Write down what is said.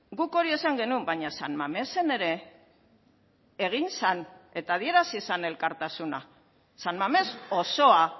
guk hori esan genuen baina san mamesen ere egin zen eta adierazi zen elkartasuna san mames osoa